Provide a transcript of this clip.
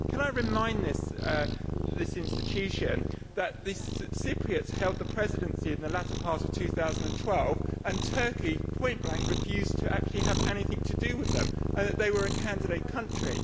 Can I remind this institution that the Cypriots held the Presidency in the latter part of 2012 and Turkey point blank refused to actually have anything to do with them, although they were a candidate country.